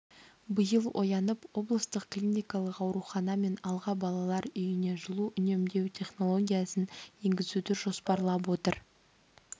биыл оянып облыстық клиникалық аурухана мен алға балалар үйіне жылу үнемдеу технологиясын енгізуді жоспарлап отыр